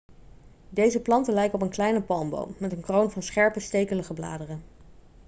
deze planten lijken op een kleine palmboom met een kroon van scherpe stekelige bladeren